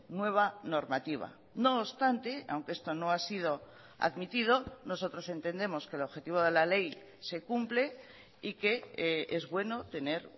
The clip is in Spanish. nueva normativa no obstante aunque esto no ha sido admitido nosotros entendemos que el objetivo de la ley se cumple y que es bueno tener